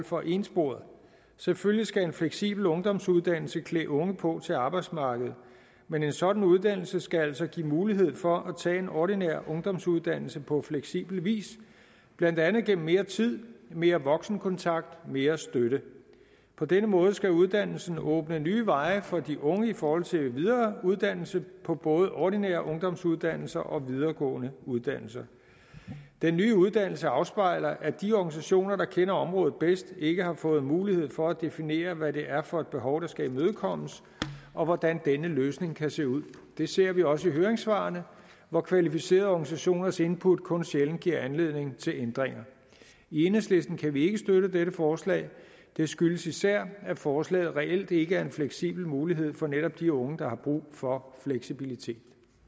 for ensporede selvfølgelig skal en fleksibel ungdomsuddannelse klæde unge på til arbejdsmarkedet men en sådan uddannelse skal altså give mulighed for at tage en ordinær ungdomsuddannelse på fleksibel vis blandt andet gennem mere tid mere voksenkontakt mere støtte på denne måde skal uddannelsen åbne nye veje for de unge i forhold til videre uddannelse på både ordinære ungdomsuddannelser og videregående uddannelser den nye uddannelse afspejler at de organisationer der kender området bedst ikke har fået mulighed for at definere hvad det er for et behov der skal imødekommes og hvordan denne løsning kan se ud det ser vi også i høringssvarene hvor kvalificerede organisationers input kun sjældent giver anledning til ændringer i enhedslisten kan vi ikke støtte dette forslag det skyldes især at forslaget reelt ikke er en fleksibel mulighed for netop de unge der har brug for fleksibilitet